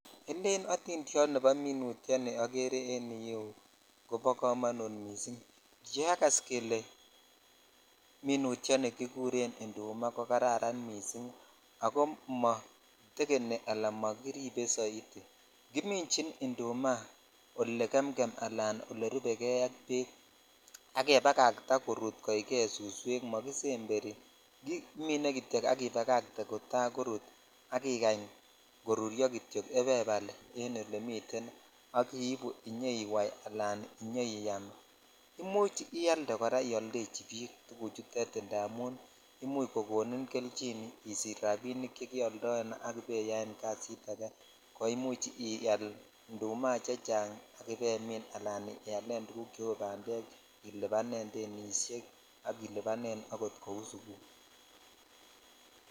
Elen otindiot nebo miutyoni okere en yuuk kobo komonut missing kiakas kele minutyoni kikuren indumaa ko kararan missing ako motekeni ala mokiripe soiti kimichin indumaa ole gemgem ala olerubejei ak bek al kebakataa korut koikei suswek mokisemberi kimine kityo ak ibakate kota korut ak ikany koruryo kitok en olemi ibaibal ak iibu iyoiwai ala iyoiyam imuch ialde koraioldachi bik tuguchutet indamun imuch konin kelchin isich rabinik chekeoldoe ak ibaiyaen kasit ak ko imuch ial indumaa chechang ak ibailen tuguk cheu bandek ,ilibanen denishek ak ilibanen akot kou sukul .